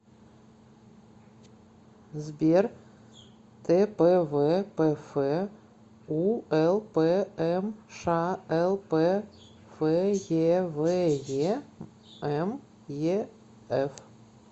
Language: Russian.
сбер тпвпф улпмшлп феве меф